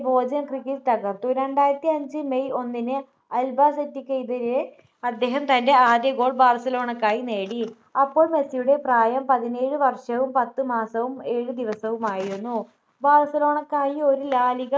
Bojan Krkic തകർത്തു രണ്ടായിരത്തിഅഞ്ച് may ഒന്നിന് അൽബാസെറ്റെക്കെതിരെ അദ്ദേഹം തൻ്റെ ആദ്യ goal ബാർസലോണക്കായി നേടി അപ്പോൾ മെസ്സിയുടെ പ്രായം പതിനേഴ് വർഷവും പത്ത് മാസവും ഏഴ് ദിവസവുമായിരുന്നു ബാർസലോണക്കായി ഒരു ലാ ലിഗ